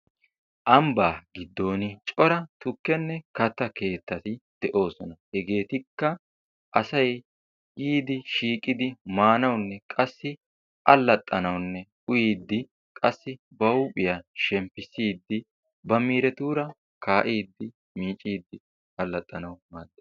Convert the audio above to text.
Ambbaa giddon cora tukkenne katta keettati de"oosona hegeetikka asayi yiidi shiiqidi maanawunne qassi allxxanawunne uyiiddi qassi ba huuphiya shemppissiiddi ba miiretuura kaa"iiddi miicciidd allaxxanawu maaddes.